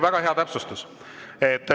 Väga hea täpsustus.